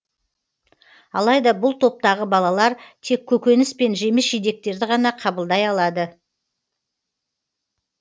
алайда бұл топтағы балалар тек көкөніс пен жеміс жидектерді ғана қабылдай алады